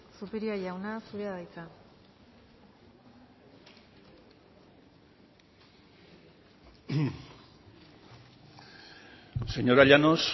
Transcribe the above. zupiria jauna zurea da hitza señora llanos